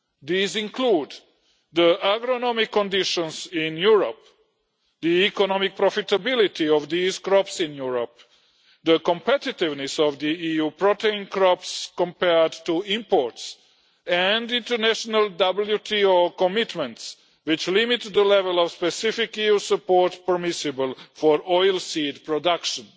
These include the agronomic conditions in Europe, the economic profitability of these crops in Europe, the competitiveness of the EU protein crops compared to imports and international WTO commitments, which limit the level of specific EU support permissible for oilseed production.